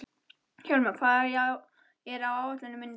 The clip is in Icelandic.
Hjálmveig, hvað er á áætluninni minni í dag?